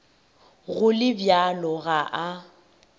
go le bjalo ga a